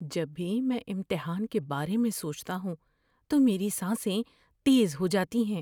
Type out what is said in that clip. جب بھی میں امتحان کے بارے میں سوچتا ہوں تو میری سانسیں تیز ہو جاتی ہیں۔